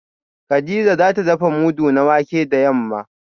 kadija za ta dafa mudu na wake da yamma